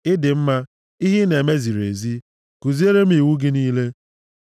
I dị mma, ihe i na-eme ziri ezi; kuziere m iwu gị niile.